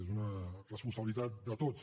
és una responsabilitat de tots